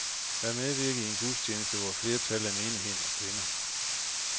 Jeg medvirkede i en gudstjeneste, hvor et flertal af menigheden var kvinder.